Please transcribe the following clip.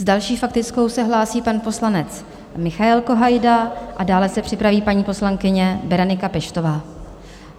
S další faktickou se hlásí pan poslanec Michael Kohajda a dále se připraví paní poslankyně Berenika Peštová.